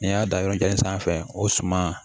N'i y'a da yɔrɔ kelen sanfɛ o suma